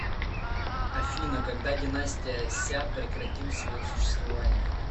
афина когда династия ся прекратил свое существование